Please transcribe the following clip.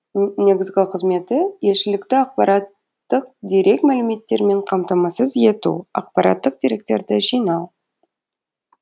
негізгі қызметі елшілікті ақпараттық дерек мәліметтермен қамтамасыз ету ақпараттық деректерді жинау